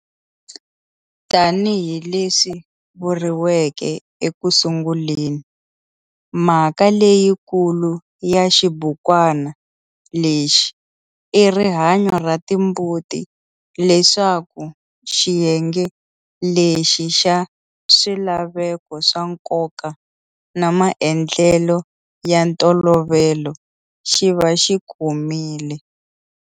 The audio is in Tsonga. Tani hi leswi vuriveke eku sunguleni, mhaka leyiikulu ya xibukwana lexi i rihanyo ra timbuti leswaku xiyenge lexi xa swilaveko swa nkoka na maendlelo ya ntolovelo xi va xi komile.